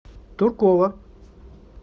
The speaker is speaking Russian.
туркова